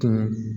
Ka